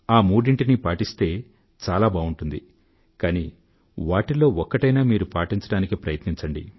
ఆ మూడింటినీ పాటిస్తే చాలా బావుంటుంది కానీ వాటిల్లో ఒక్కటైనా మీరు పాటించడానికి ప్రయత్నించండి